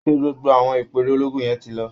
ṣé gbogbo àwọn ìpẹ́ẹ̀rẹ̀ ológun yẹn ti lọ?